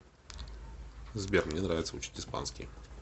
сбер мне нравится учить испанский